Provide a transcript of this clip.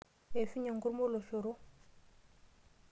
Eishunye enkurmwa oloshoro.